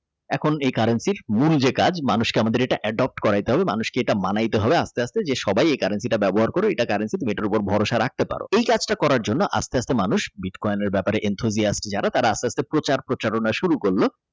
এখন এই Currency মূল যে কাজ মানুষ কে আমাদের Adopt করাইতে হবে মানুষকে এটা মানাইতে হবে আস্তে আস্তে সবাই এই currency টা ব্যবহার করে কারণ সেটার উপরে ভরসা রাখতে পারো করার জন্য আস্তে আস্তে মানুষ বিটকয়েনের Intro দিয়ে আসতে যারা তারা অস্ত্র হাতে প্রচার-প্রচারণা শুরু করলো।